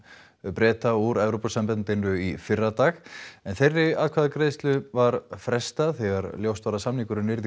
Breta úr Evrópusambandinu í fyrradag en þeirri atkvæðagreiðslu var frestað þegar ljóst var að samningurinn yrði